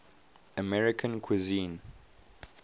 american cuisine